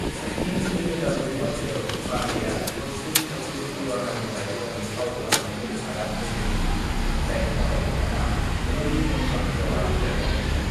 "इं 2009 माइथायाव पान्डेआ भोजपुरी सावथुन दीवानानिफ्राय गावनि फाव खालानायखौ आगान होजेनो, जायनि थाखाय बिथाङा ज्युरि मेन्शन अवार्ड देरहादोंमोन।"